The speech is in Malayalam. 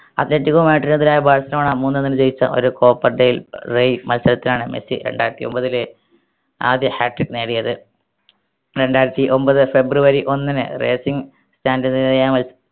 athletico എതിരായ ബാഴ്‌സലോണ മൂന്നേ ഒന്നിന് ജയിച്ച ഒരു മത്സരത്തിനാണ് മെസ്സി രണ്ടായിരത്തി ഒമ്പതിലെ ആദ്യ hatric നേടിയത് രണ്ടായിരത്തി ഒമ്പത് ഫെബ്രുവരി ഒന്നിന് racing stand ന് എതിരായ മൽസ്